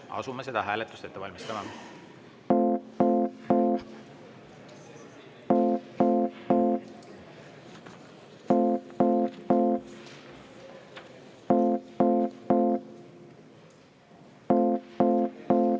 Asume seda hääletust ette valmistama.